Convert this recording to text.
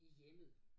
I hjemmet